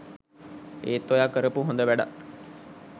ඒත් ඔයා කරපු හොඳ වැඩත්